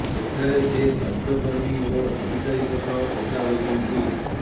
ସେଠାରେ ସେ ସ୍ବାସ୍ଥ୍ୟକର୍ମୀ ଓ ଅଧିକାରୀଙ୍କ ସହ କଥା ହୋଇଛନ୍ତି